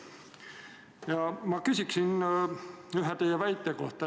Ja ma küsin ühe teie väite kohta.